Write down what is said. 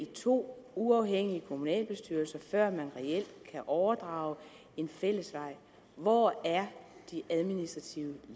to uafhængige kommunalbestyrelser før man reelt kan overdrage en fællesvej hvor er de administrative